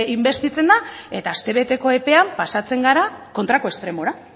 inbestitzen da eta astebeteko epean pasatzen gara kontrako estremora